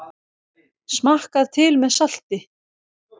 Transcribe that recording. Smakkað til með salti.